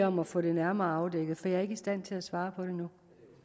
om at få det nærmere afdækket for jeg er ikke i stand til at svare på det nu